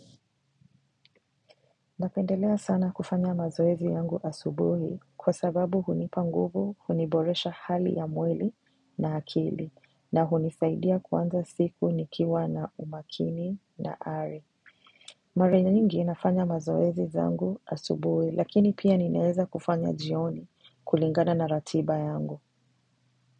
Napendelea sana kufanya mazoezi yangu asubuhi kwa sababu hunipa nguvu, huniboresha hali ya mwili na akili na hunisaidia kuanza siku nikiwa na umakini na ari. Mara nyingi nafanya mazoezi zangu asubuhi lakini pia ninaeza kufanya jioni kulingana na ratiba yangu.